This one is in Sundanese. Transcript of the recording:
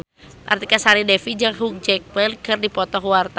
Artika Sari Devi jeung Hugh Jackman keur dipoto ku wartawan